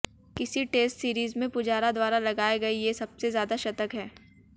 किसी test series में पुजारा द्वारा लगाए गए ये सबसे ज्यादा शतक हैं